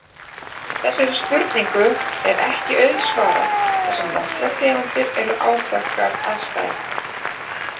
Þessari spurningu er ekki auðsvarað þar sem nokkrar tegundir eru áþekkar að stærð.